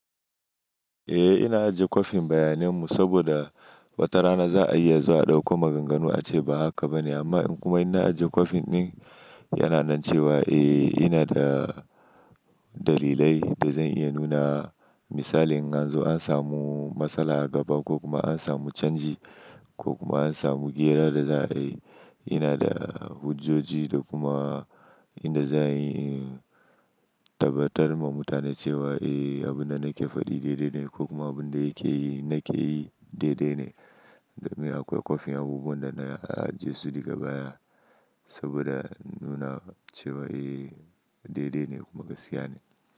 Eh ina ajiye kwafin bayanan mu saboda watarana za a iya zuwa a ɗauko maganganu ace ba haka bane amma kuma ina ajjiye kwafin ɗin yana nan cewa eh ina da dalilai da zan iya nuna misali in an zo an samu matsala a gaba ko kuma an samu canji ko kuma an samu ƙera da za a yi. Ina da hujjoji da kuma inda za'a yi tabbatar ma mutane cewa eh abin da nake fadi daidai ne ko kuma abin da yake yi nake yi daidai ne. Niakwai kwafin abubuwan da na ajiye su daga baya saboda nuna cewa eh daidai ne kuma gaskiya ne.